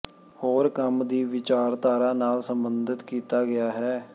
ਹੋਰ ਕੰਮ ਦੀ ਵਿਚਾਰਧਾਰਾ ਨਾਲ ਸਬੰਧਤ ਕੀਤਾ ਗਿਆ ਹੈ